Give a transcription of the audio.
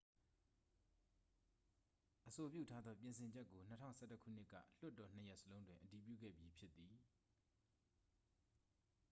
အဆိုပြုထားသော ပြင်ဆင်ချက်ကို 2011 ခုနှစ်က လွှတ်တော်နှစ်ရပ်စလုံးတွင် အတည်ပြုခဲ့ပြီးဖြစ်သည်